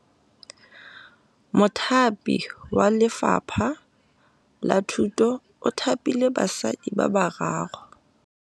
Mothapi wa Lefapha la Thutô o thapile basadi ba ba raro.